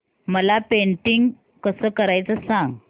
मला पेंटिंग कसं करायचं सांग